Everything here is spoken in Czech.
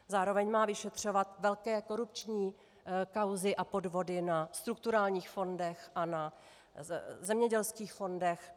Zároveň má vyšetřovat velké korupční kauzy a podvody na strukturálních fondech a na zemědělských fondech.